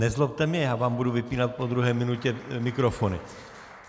Nezlobte mě, já vám budu vypínat po druhé minutě mikrofony.